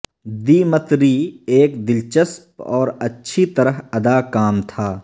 Dmitri ایک دلچسپ اور اچھی طرح ادا کام تھا